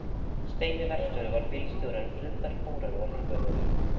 Steini verkstjóri var bílstjóri en Friðbert múrari var lífvörður.